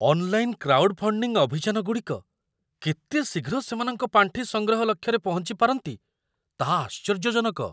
Online crowdfunding ଅଭିଯାନଗୁଡ଼ିକ କେତେ ଶୀଘ୍ର ସେମାନଙ୍କ ପାଣ୍ଠି ସଂଗ୍ରହ ଲକ୍ଷ୍ୟରେ ପହଞ୍ଚିପାରନ୍ତି, ତାହା ଆଶ୍ଚର୍ଯ୍ୟଜନକ!